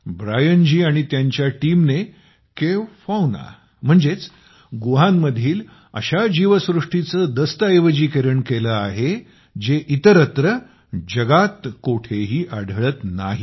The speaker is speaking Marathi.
ब्रायन जी आणि त्यांच्या टीमने केव्ह फौना म्हणजेच गुहांमधील अशा जीवसृष्टीचे दस्तऐवजीकरण केले आहे जे इतरत्र जगात कोठेही आढळत नाहीत